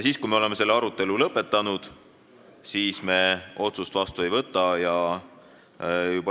Kui me oleme selle arutelu lõpetanud, siis me otsust vastu ei võta.